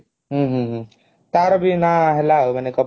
ହୁଁ ହୁଁ ହୁଁ ତାର ବି ନ ହେଲା ମାନେ କପିଲ